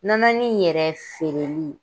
Nananin yɛrɛ feereli